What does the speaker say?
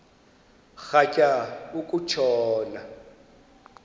rhatya uku tshona